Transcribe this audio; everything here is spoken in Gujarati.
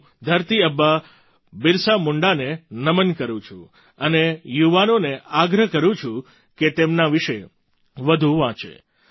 હું ધરતી આબા બિરસા મુંડાને નમન કરું છું અને યુવાનોને આગ્રહ કરું છું કે તેમના વિશે વધુ વાંચે